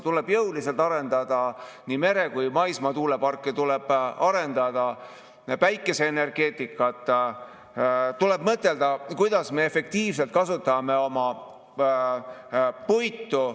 Tuleb jõuliselt arendada nii mere- kui ka maismaa tuuleparke, tuleb arendada päikeseenergeetikat, tuleb mõtelda, kuidas me efektiivselt kasutame oma puitu.